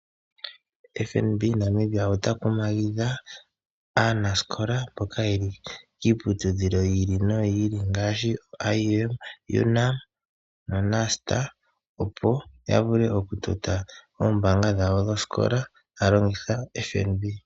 FNB Namibia ota kumagidha aanasikola mboka yeli kiiputudhilo yiili noyili ngaashi IUM, UNAM naNUST opo yavule oombaanga dhawo dhoosikola taya longitha FNB.